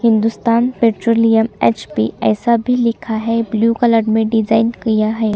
Hindustan petroleum H P ऐसा भी लिखा है ब्लू कलर में डिज़ाइन किया है।